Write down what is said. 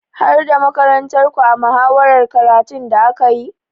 Har da makarantarku a muhawarar makarantun da aka yi?